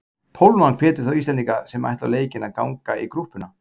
Tólfan hvetur þá Íslendinga sem ætla á leikinn að ganga í grúppuna.